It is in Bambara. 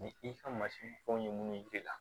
Ni i ka masiri fɛnw ye munnu yer'i la